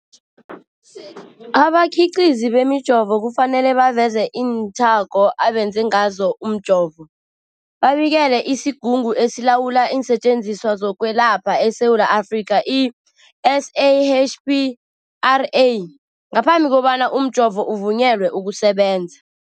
Abakhiqizi bemijovo kufanele baveze iinthako abenze ngazo umjovo, babikele isiGungu esiLawula iinSetjenziswa zokweLapha eSewula Afrika, i-SAHPRA, ngaphambi kobana umjovo uvunyelwe ukusebenza.